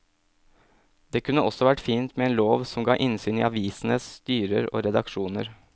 Det kunne også vært fint med en lov som ga innsyn i avisenes styrer og redaksjoner.